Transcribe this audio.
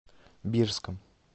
бирском